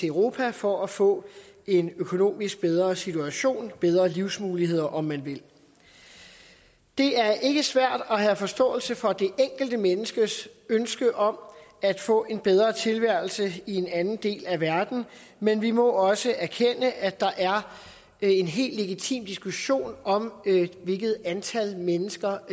europa for at få en økonomisk bedre situation bedre livsmuligheder om man vil det er ikke svært at have forståelse for det enkelte menneskes ønske om at få en bedre tilværelse i en anden del af verden men vi må også erkende at der er en helt legitim diskussion om hvilket antal mennesker